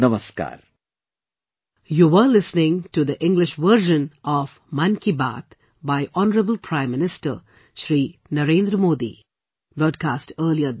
Namaskar